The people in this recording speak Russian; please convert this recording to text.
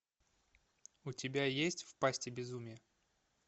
у тебя есть в пасти безумия